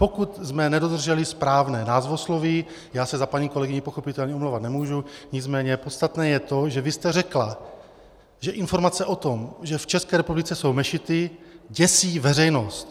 Pokud jsme nedodrželi správné názvosloví, já se za paní kolegyni pochopitelně omlouvat nemůžu, nicméně podstatné je to, že vy jste řekla, že informace o tom, že v České republice jsou mešity, děsí veřejnost.